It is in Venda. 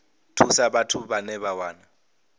thusa vhathu vhane vha wana